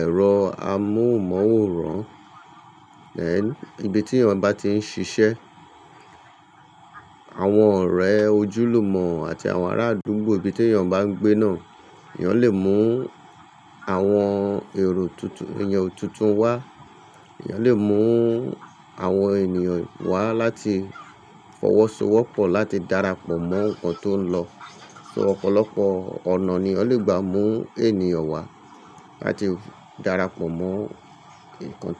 ẹ̀rọ amóhùnmáwòrán. Ibi tí èèyàn bá ti ń ṣiṣẹ́, àwọn ọ̀rẹ́ ojúlùmọ̀ àti àwọn ará àdúgbò ibi tí èèyàn bá ń gbé náà. Ẹ̀yàn lè mú àwọn èrò tuntun, èèyàn tuntun wá. Ẹ̀yàn lè mú àwọn ènìyàn wá láti fọwọ́sowọ́pọ̀, láti darapọ̀ mọ́ nǹkan tó ń lọ. So ọ̀pọ̀lọpọ̀ ọ̀nà ni èyàn lè gbà mú ènìyàn wá láti darapọ̀ mọ́ nkan.